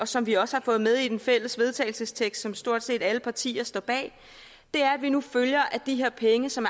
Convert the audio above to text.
som vi også har fået med i den fælles vedtagelsestekst som stort set alle partier står bag er at vi nu følger at de her penge som